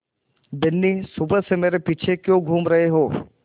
बिन्नी सुबह से मेरे पीछे क्यों घूम रहे हो